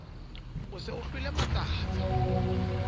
o se o hlwele matsatsa